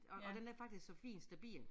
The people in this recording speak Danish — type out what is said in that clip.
Og og den er faktisk så fin stabil